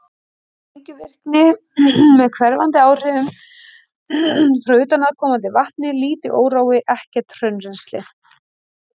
Sprengivirkni með hverfandi áhrifum frá utanaðkomandi vatni, lítill órói, ekkert hraunrennsli.